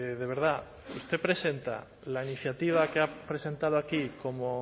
de verdad usted presenta la iniciativa que ha presentado aquí como